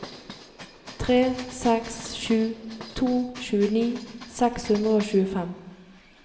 tre seks sju to tjueni seks hundre og tjuefem